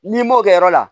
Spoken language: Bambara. N'i m'o kɛ yɔrɔ la